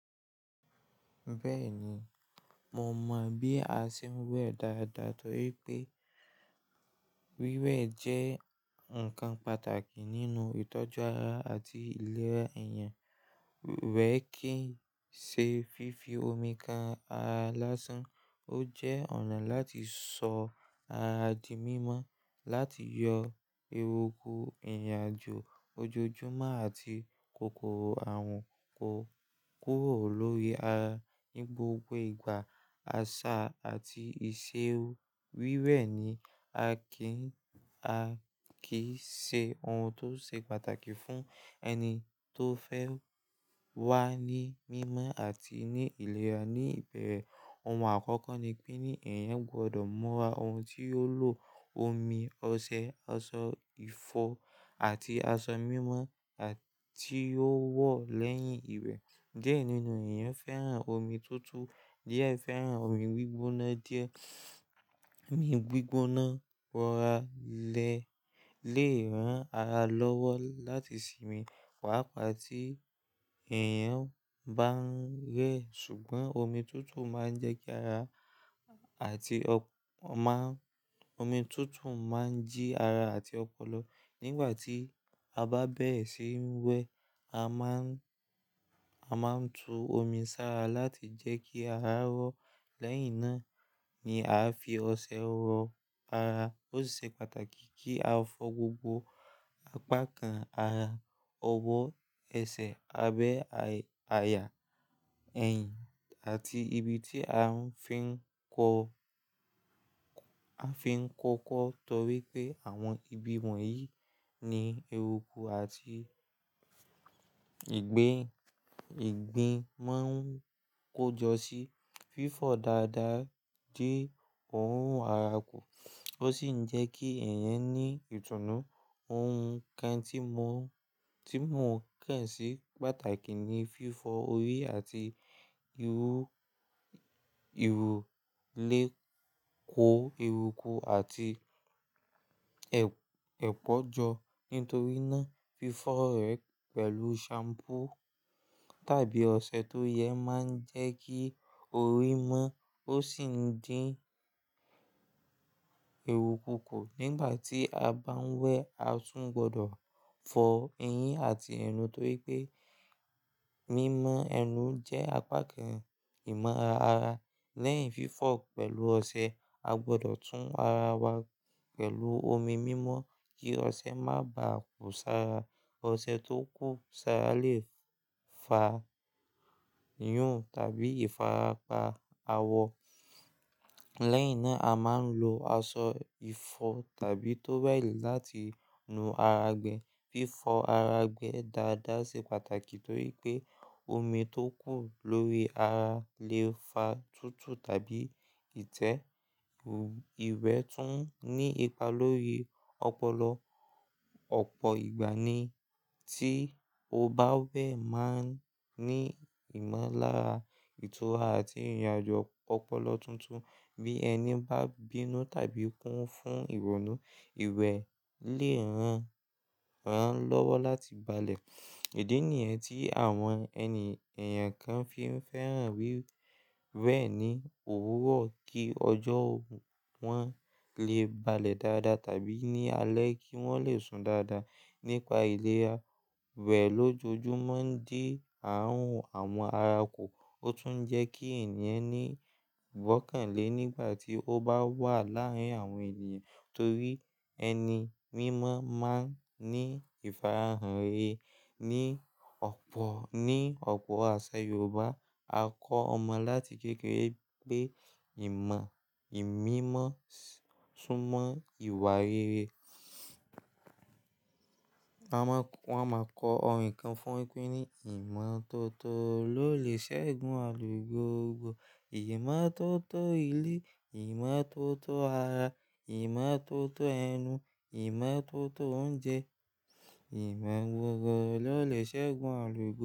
Bẹ́ẹ̀ni, mo mọ bí a ṣe ń wẹ̀ dáadáa torí pé wíwẹ̀ jẹ́ ǹkan pàtàkì nínú ìtọ́jú ara àti ìlera èèyàn. Wẹ̀ kì í ṣe fífi omi ka ara lásán, ó jẹ́ ọ̀nà láti sọ ara di mímọ́, láti yọ eruku, ìrìnàjò ojoojúmọ́ àti kòkòrò àrùn kúrò lórí ara. Ní gbogbo ìgbà, àṣà àti ìṣe wíwẹ̀ ni a kí ń ṣe, ohun tó ṣe pàtàkì fún ẹni tó fẹ́ wà ní mímọ́ àti ní ìlera. Ni ìbẹ̀rẹ̀, ohun àkọ́kọ́ ni pé ní èèyàn gbọdọ̀ mọ̀ ara òun tí ó ń lo omi, ọṣẹ, aṣọ ìfọ̀ àti aṣọ mímọ́ àti ó wọ̀ lẹ́yìn ìwẹ̀. Diẹ nínú èèyàn fẹ́ràn omi túútúú díẹ̀ fẹ́ràn omi gbígbóná díẹ̀. Omi gbígbóná wọ́ra ilé lè ran ara lọ́wọ́ láti sinmi, pàápàá tí èèyàn bá ń rẹ. Ṣùgbọ́n omi túútúú máa ń jẹ́ kí ara àti o mi utu ma ń jí ara sti ọpọlọ. Nígbà tí a bá bẹ̀rẹ̀ síi wẹ, a máa ń, a máa ń tu omi sára láti jẹ́ kí ara rò lẹ́yìn na. Ni aa fi ọṣẹ wọ̀ ara ó sìṣe pàtàkì kii a fọ̀ gbogbo apá kan ara, ọwọ́ àti ẹsẹ̀ abẹ́ àyà ẹ̀yìn àti ibi tí afin nko a fi ń kọkọ́ torí pé àwọn ibi wọ̀nyí ni eruku àti ìgbín, ìgbín máa ń kójọ síí. Fífọ̀ dáadáa dín òórùn ara kù, ó sì ń jẹ́ kí èèyàn m ní ìtùnú. Ohun kan tí mò ń, tí mò ń kàn sí pàtàkì ni fífọ́ orí àti irú, irú lè kó eruku àti ẹpọ jọ. Nítorí náà, fífọ́ rẹ̀ pẹ̀lú shampoo tàbí ọṣẹ tó yẹ máa ń jẹ́ kí orí mọ́. Ó sì ń dín ẹrúku kù. Nígbà tí a bá ń wẹ, a tún gbọdọ̀ fọ eyín àti ẹnu torí pé mímọ ẹnu jẹ́ apá kan ìmọ̀ ara. Lẹ́yìn fífọ̀ pẹ̀lú ọṣẹ, a gbọdọ̀ tún ara wa pẹ̀lú omi mímọ́ kí ọṣẹ má bàá kú sára. Ọṣẹ tó kù sára lè fa yún tàbí ìfarapa awọ. Lẹ́yìn náà, a máa ń lo aṣọ ìfọ̀ tàbí towel láti nu ara gbẹ. Fífọ ara gbẹ dáadáa ṣe pàtàkì torí pé omi tó kù lórí ara lè fa tútùú tàbí ìtẹ́. Ìwẹ̀ tún ní ipa lórí ọpọlọ. Ọ̀pọ̀ ìgbà ni tí o bá ń be máa ní ìmọ̀lára ìtura àti ìrìn àjò ọpọlọ tuntun bí ẹni bá bínú tàbí kún fún ìrònú, ìwẹ̀ lè ràn án lọ́wọ́ láti balẹ̀. Ìdì nìyẹn tí àwọn ẹni, èèyàn kan fi ń fẹ́ràn wíwẹ̀ ní òwúrọ̀ kí ọjọ́ wọn lè balẹ̀ dáadáa tàbí ní alẹ́ kí wọ́n lè sùn dáadáa. Nípa ìlera, wẹ̀ lójoojúmọ́ ń dín ààrùn àwọn ara kù. Ó tún ń jẹ́ kí èèyàn ní ìbọ kan è nígbà tí ó bá wà láàárín àwọn ènìyàn torí ẹni mímọ́ máa ń ní ìfarahàn rere. Ni ọ̀pọ̀, ní ọ̀pọ̀ àṣà Yorùbá, a kọ́ ọmọ láti kékeré pé ìmọ̀, ìmímọ́ súnmọ́ ìwà rere. Wọ́n máa kọ orin kan fún un pé ní, "Ìmọ́tótó ló lè ṣẹ́gun aàrun gbogbo. Ìmọ́tótó ilé, ìmọ́tótó ara, ìmọ́tótó ẹnu, ìmọ́tótó oúnjẹ, ìmọ̀ gbogbo ló lè ṣẹ́gun àlùgò."